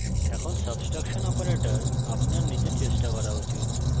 এখন subtraction operator আপনার নিজের চেষ্টা করা উচিত